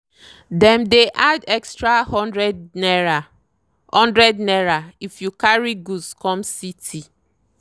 dem dey add extra hundred naira hundred naira if you carry goods come city.